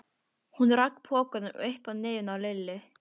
Hún rak pokann upp að nefinu á Lillu.